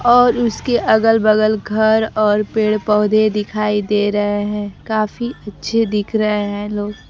और उसके अगल बगल घर और पेड़ पौधे दिखाई दे रहे हैं काफी अच्छे दिख रहे हैं लोग--